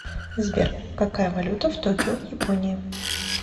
сбер какая валюта в токио в японии